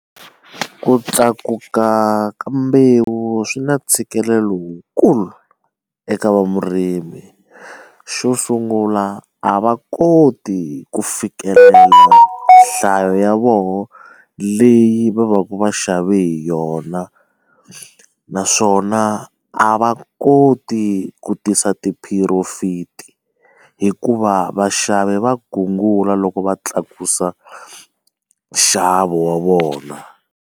Ku tlakuka ka mbewu swi na ntshikelelo lowukulu eka va murimi xo sungula a va koti ku fikelela nhlayo ya vona leyi va va ka va xavi hi yona naswona a va koti ku tisa ti profit hikuva vaxavi va gungula loko va tlakusa nxavo wa vona.